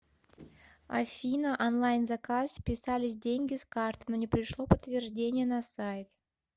афина онлайн заказ списались деньги с карты но не пришло подтверждение на сайт